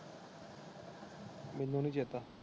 ਮੈਨੂੰ ਨੀ ਚੇਤਾ।